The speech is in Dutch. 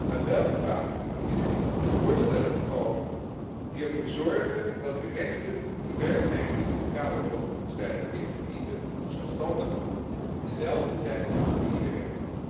Maar wel vragen we de Commissie met voorstellen te komen die ervoor zorgen dat de rechten die werknemers in het kader van het vrije verkeer genieten, of zelfstandigen, dezelfde zijn voor iedereen.